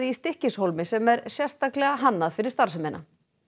Stykkishólmi sem er sérstaklega hannað fyrir starfsemina